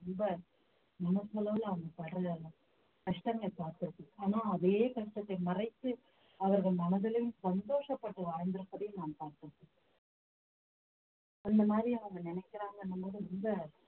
ரொம்ப மனசளவுல அவங்க படற கஷ்டங்கள் பார்த்திருக்கு ஆனா அதே கஷ்டத்தை மறைத்து அவர்கள் மனதிலும் சந்தோஷப்பட்டு வாழ்ந்திருப்பதை நாம் பார்த்தோம் அந்த மாதிரி அவங்க நினைக்கிறாங்கன்னும்போது ரொம்ப